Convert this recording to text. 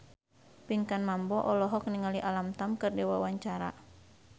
Pinkan Mambo olohok ningali Alam Tam keur diwawancara